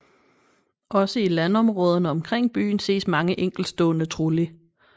Også i landområderne omkring byen ses mange enkeltstående trulli